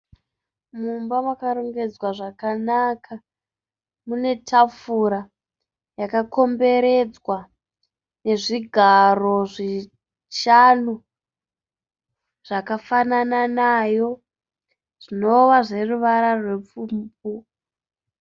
Mumba makarongedzwa zvakanaka . Mune tafura yakakomberedzwa nezvigaro zvishanu zvakafanana nayo zvinova zveruvara rupfumbu.